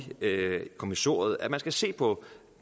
kommissoriet at man skal se på